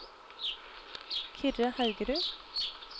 Kyrre Haugerud